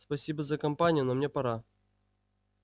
спасибо за компанию но мне пора